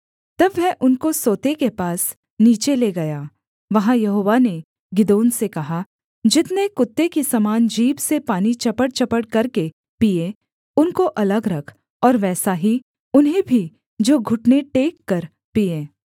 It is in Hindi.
तब वह उनको सोते के पास नीचे ले गया वहाँ यहोवा ने गिदोन से कहा जितने कुत्ते की समान जीभ से पानी चपड़चपड़ करके पीएँ उनको अलग रख और वैसा ही उन्हें भी जो घुटने टेककर पीएँ